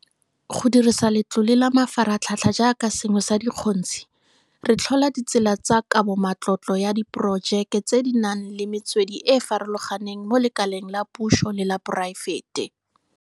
Go dirisa Letlole la Mafaratlhatlha jaaka sengwe sa dikgontshi, re tlhola ditsela tsa kabomatlotlo ya diporojeke tse di nang le metswedi e e farologaneng mo lekaleng la puso le la poraefete.